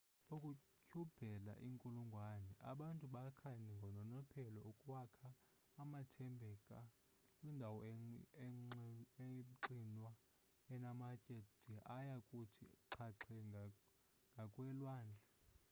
ukutyhubela iinkulungwane abantu bakha ngononophelo ukwakha amathambeka kwindawo emxinwa enamatye de aya kuthi xhaxhe ngakwelwandle